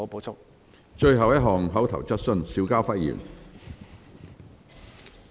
最後一項口頭質詢。